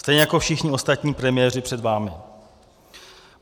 Stejně jako všichni ostatní premiéři před vámi.